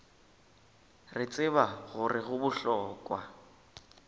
re tseba gore go bohlokwa